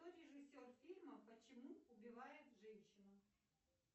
кто режиссер фильма почему убивают женщину